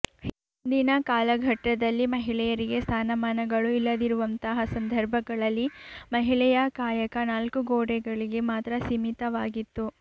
ಹಿಂದಿನ ಕಾಲಘಟ್ಟದಲ್ಲಿ ಮಹಿಳೆಯರಿಗೆ ಸ್ಥಾನಮಾನಗಳು ಇಲ್ಲದಿರುವಂತಹ ಸಂದರ್ಭಗಳಲ್ಲಿ ಮಹಿಳೆಯ ಕಾಯಕ ನಾಲ್ಕು ಗೋಡೆಗಳಿಗೆ ಮಾತ್ರ ಸೀಮಿತವಾಗಿತ್ತು